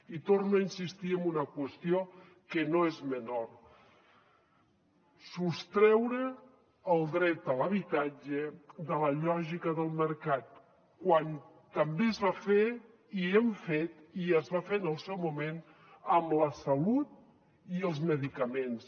i torno a insistir en una qüestió que no és menor sostreure el dret a l’habitatge de la lògica del mercat quan també es va fer i hem fet i es va fer en el seu moment amb la salut i els medicaments